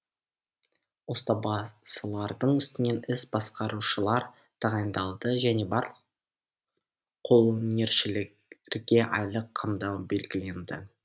ұстабасылардың үстінен іс басқарушылар тағайындалды және барлық қолөнершілерге айлық қамдау белгіленді